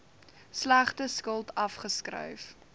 slegte skuld afgeskryf